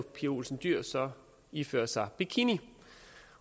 pia olsen dyhr så ifører sig bikini